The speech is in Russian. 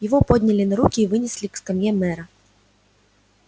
его подняли на руки и вынесли к скамье мэра